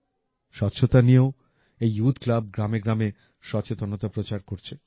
স্বচ্ছতা নিয়েও এই ইউথ ক্লাব গ্রামে গ্রামে সচেতনতা প্রচার করছে